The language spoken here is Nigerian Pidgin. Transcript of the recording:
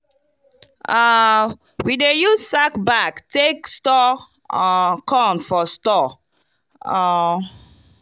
um we dey use sack bag take store um corn for store. um